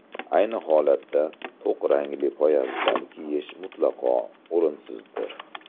Ayni holatda, to‘q rangli poyabzal kiyish mutlaqo o‘rinsizdir.